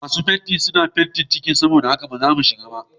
Masu fentin suna fente kicin saboda haka ba zamu iya shiga ba.